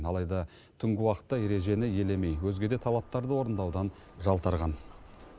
алайда түнгі уақытта ережені елемей өзге де талаптарды орындаудан жалтарған